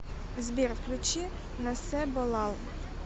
сбер включи насебо лал